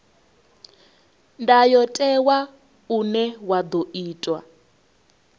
ndayotewa une wa ḓo itwa